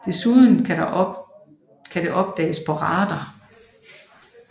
Desuden kan det opdages på radar